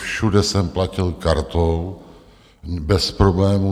Všude jsem platil kartou bez problémů.